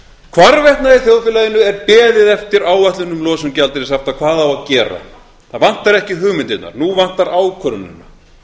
hvarvetna í þjóðfélaginu er beðið eftir áætlun um losun gjaldeyrishafta hvað á að gera það vantar ekki hugmyndirnar nú vantar ákvörðunina